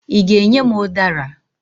Ị ga-enye m ụdara?